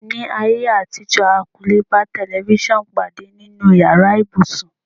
Ní ayé àtijọ́, a kò lè bá tẹlifísàn pàdé nínú yàrá ibùsùn